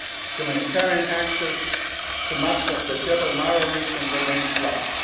of Sudan. Humanitarian access to much of the Jebel Mara region remains